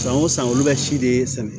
San o san olu bɛ si de sɛnɛ